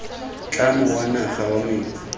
tlamo wa naga wa metsi